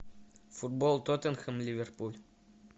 футбол тоттенхэм ливерпуль